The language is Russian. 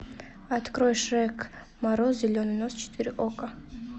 открой шрек мороз зеленый нос четыре окко